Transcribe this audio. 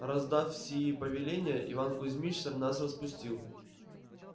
раздав сии повеления иван кузьмич нас распустил